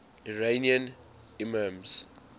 iranian imams